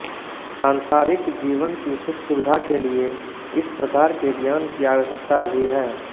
सांसारिक जीवन की सुखसुविधा के लिए इस प्रकार के ज्ञान की आवश्यकता भी है